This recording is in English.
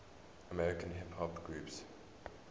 american hip hop groups